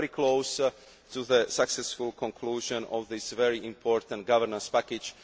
We are very close to the successful conclusion of this very important governance package.